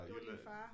Det var din far?